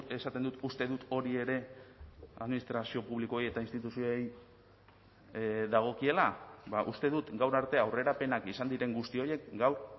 esaten dut uste dut hori ere administrazio publikoei eta instituzioei dagokiela uste dut gaur arte aurrerapenak izan diren guzti horiek gaur